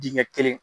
Dingɛ kelen